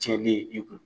Tiɲɛni i kun